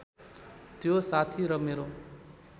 त्यो साथी र मेरो